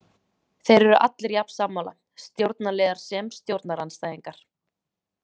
Þeir eru allir jafn sammála, stjórnarliðar sem stjórnarandstæðingar.